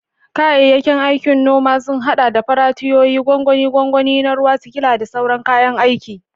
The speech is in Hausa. Kayayyakin aikin noma sun haɗa da faratiyoyi, gwangwani, gwangwani na ruwa, sikila, da sauran kayan aiki.